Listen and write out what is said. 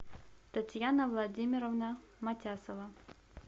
татьяна владимировна матясова